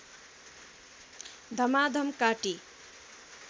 धमाधम काटी